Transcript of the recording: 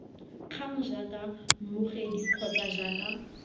kgang jaaka mmogedi kgotsa jaaka